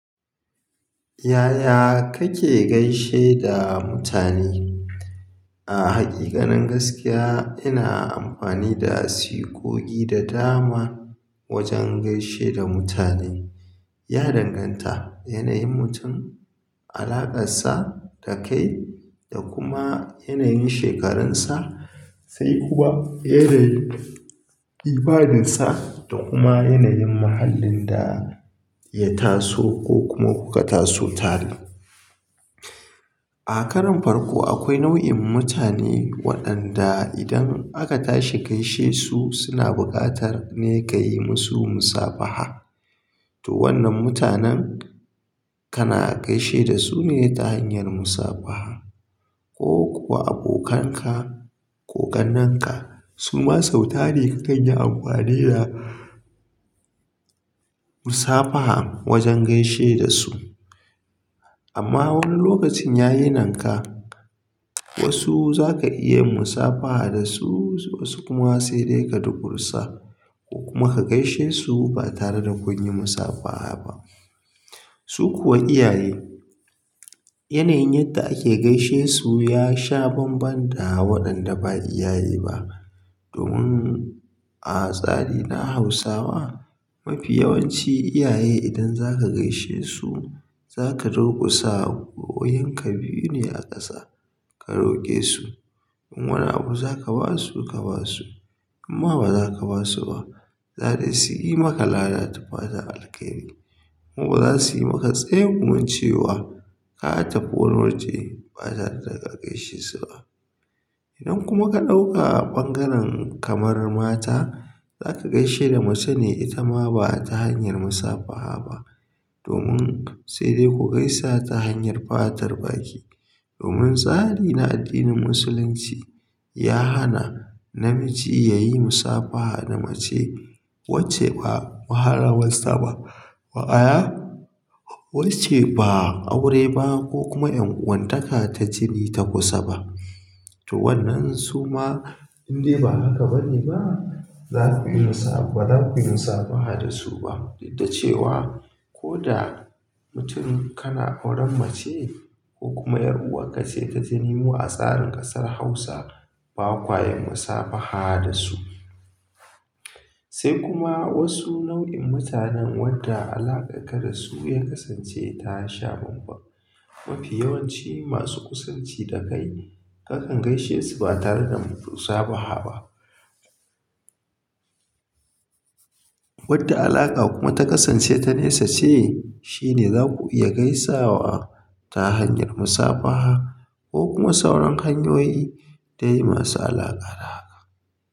Yaya kake gaishe da mutane? A hakika nin gaskiya ina amfani da sigogi da dama wajen gaishe da mutane. Ya danganta da yanayin mutum, alaƙarsa da kai da kuma yanayin shekaransa sai kuma irin imaninsa da kuma yanayin mahallin da ya taso ko kuma kuka taso tare. A karon farko akwai nau'in mutane waɗanda idan aka tashi gaishe su suna buƙatar ne ka yi musu musafaha. To wannan mutanen kana gaishe da su ne ta hanyar musafaha ko kuwa abokanka ko ƙannenka suma sau tari ka kan yi amfani da musafaha wajen gaishe da su. Amma wani lokacin ya yi nanka wasu za ka iya musafaha da su wasu kuma sai dai ka durkusa ko kuma ka gaishe su ba tare da kun yi musafaha ba. Su kuwa iyaye yanayin yadda ake gaishe su ya sha banban da waɗanda ba iyaye ba. Domin a tsari na Hausawa mafi yawanci iyaye idan za ka gaishe su za ka durkusa gwiwoyinka biyu ne a ƙasa ka roke su. In wani abu za ka ba su ka ba su imma ba za ka ba su ba, za dai su yi maka lada ta fatan alkairi kuma ba za su yi maka tsegumincewa ka tafi wurin wuce ba tare da ka gaishe su ba. Idan kuma ka ɗauka ɓangaren kamar mata za ka gaishe da mace ne ita ma ba ta hanyar musafaha ba domin sai dai ku gaisa ta hanyar fatar baki. Domin tsari na addinin Musulunci ya hana namiji ya yi musafaha da mace wacce ba muharramarsa ba, maana wacce ba aure ba ko kuma ƴan uwanta ka ta jini ta kusa ba to wannan suma indai ba haka bane ba zakayi musafaha dasu ba duk da cewa koda mutum kana auren mace kokuma yar uwarka ce ta jini mu a tsarin kasar hausa ba ƙwayin musafaha da su. Sai kuma wasu nau'in mutanen wadda alaƙarka da su ya kasance ta sha banban. Mafi yawanci masu kusanci da kai kakan gaishe su ba tare da musafaha ba. Wadde alaƙa kuma ta kasance ta nesa ce shi ne za ku iya gaisawa ta hanyar musafaha ko kuma sauran hanyoyi ta yi masu alaƙa da haka.